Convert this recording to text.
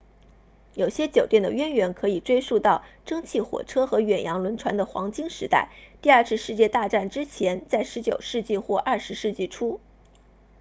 有些酒店的渊源可以追溯到蒸汽火车和远洋轮船的黄金时代第二次世界大战之前在19世纪或20世纪初